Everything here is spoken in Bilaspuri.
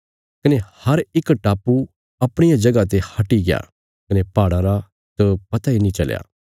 कने हर इक टापु अपणिया जगह ते हटिग्या कने पहाड़ां रा त पता नीं चलया